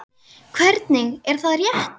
Hvernig, er það rétt?